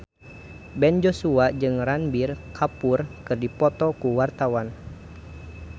Ben Joshua jeung Ranbir Kapoor keur dipoto ku wartawan